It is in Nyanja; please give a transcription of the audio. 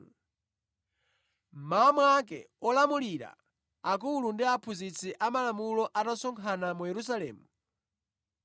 Mmawa mwake olamulira, akulu ndi aphunzitsi a malamulo anasonkhana mu Yerusalemu.